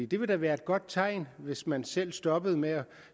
det ville da være et godt tegn hvis man selv stoppede med at